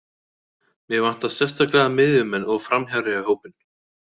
Mig vantar sérstaklega miðjumenn og framherja í hópinn.